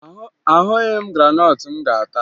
Ahụghị m graanọtụ m ga-ata